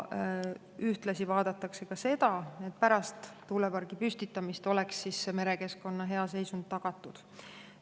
Ühtlasi vaadatakse seda, et pärast tuulepargi püstitamist oleks merekeskkonna hea seisund tagatud.